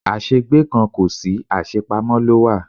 Àṣẹ gbé kan kò sí, àṣe pamọ́ ló wà.